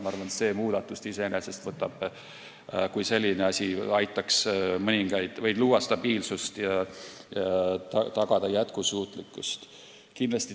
Ma arvan, et see muudatus iseenesest aitaks luua stabiilsust ja tagada jätkusuutlikkust.